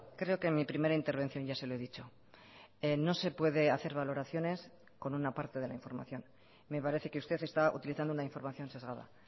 creo que en mi primera intervención ya se lo he dicho no se puede hacer valoraciones con una parte de la información me parece que usted está utilizando una información sesgada